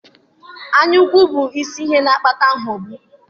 Anyaukwu bụ isi ihe na-akpata aghụghọ